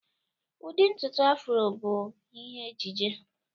Ụdị ntutu Afro bụ ihe ejiji